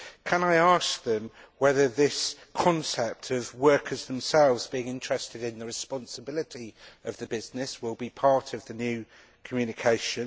Can I ask them whether this concept of workers themselves being interested in the responsibility of the business will be part of the new Communication?